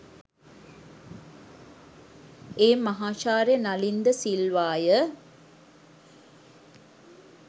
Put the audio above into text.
ඒ මහාචාර්ය නලින් ද සිල්වාය.